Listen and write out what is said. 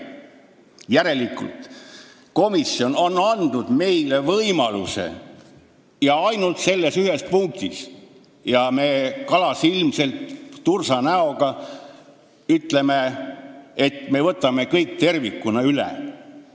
Järelikult on komisjon andnud meile ainult selles ühes punktis võimaluse, aga meie ütleme kalasilmselt, tursanäoga, et me võtame kõik tervikuna üle.